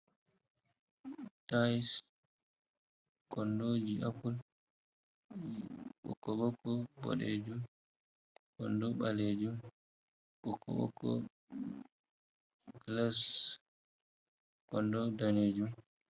Tiles, kondoji apple ɓokko-ɓokko, boɗejum. kondo ɓalejum, ɓokko-ɓokko, glass, kondo, danejum.